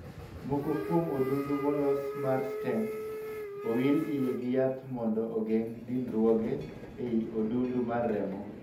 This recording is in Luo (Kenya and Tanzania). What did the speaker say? Moko kuom odundu molosi mar 'stent' owir iye gi yath mondo ogeng' dinruoge ei odundu mar remo.